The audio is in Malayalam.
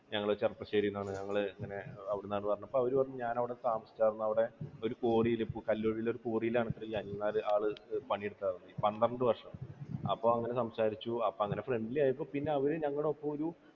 ഞങ്ങൾ ചെർപ്പുളശ്ശേരിയിൽ എന്നാണ് ഞങ്ങൾ ഇങ്ങനെ അവിടുന്നാണ് എന്ന് പറഞ്ഞപ്പോൾ അവരു പറഞ്ഞു ഞാൻ അവിടെ താമസിച്ചായിരുന്നു. അവിടെ ഒരു കോറിയിൽ, കല്ലെടുക്കണ ഒരു കോറിയിൽ ആണത്രേ ഈ അനിൽ നായർ പണിയെടുത്തിരുന്നത്. പന്ത്രണ്ട് വർഷം. അപ്പോൾ അങ്ങനെ സംസാരിച്ചു. friendly ആയപ്പോൾ അവർ ഞങ്ങളുടെ ഒപ്പം ഒരു